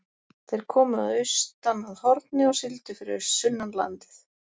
Þeir komu austan að Horni og sigldu fyrir sunnan landið.